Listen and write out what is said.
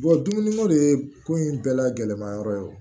dumuni ko de ye ko in bɛɛ lagɛlɛnman yɔrɔ ye